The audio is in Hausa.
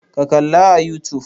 Ka kalla a youtube!